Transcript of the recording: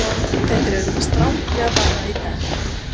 Þetta er auðvitað stranglega bannað í dag.